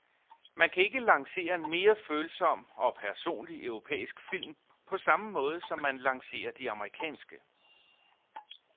Man kan ikke lancere en mere følsom og personlig europæisk film på samme måde, som man lancerer de amerikanske.